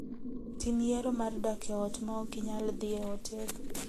Tim yiero mar dak e ot ma ok inyal dhi e otel.